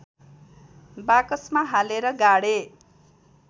बाकसमा हालेर गाडे